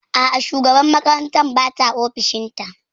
A'a, shugabar makarantar bata ofishin ta